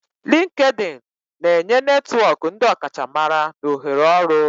LinkedIni na-enye netwọk ndi ọkachamara na ohere ọrụ.